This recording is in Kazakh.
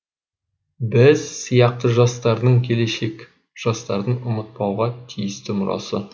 біз сияқты жастардың келешек жастардың ұмытпауға тиісті мұрасы